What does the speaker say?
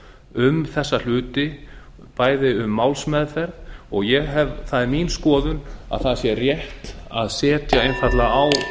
um þessa hluti bæði um málsmeðferð og það er mín skoðun að það sé rétt að setja einfaldlega á stofn